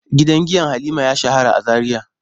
Gidan giya Halima ya shahara a Zaria.